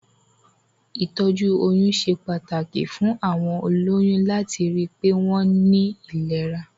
Ìtọ́jú oyún ṣe pàtàkì fún àwọn olóyún láti ri pé wọ́n ní ìlera.